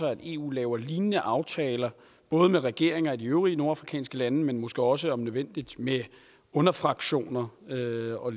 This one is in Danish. at eu laver lignende aftaler både med regeringer i de øvrige nordafrikanske lande men måske også om nødvendigt med underfraktioner og lignende og